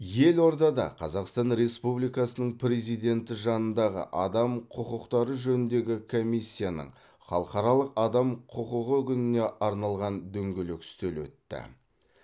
елордада қазақстан республикасының президенті жанындағы адам құқықтары жөніндегі комиссияның халықаралық адам құқығы күніне арналған дөңгелек үстел өтті